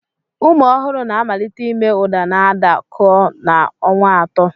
Ụmụ ohuru na-amalite ime uda n'ada koo n'ọnwa atọ.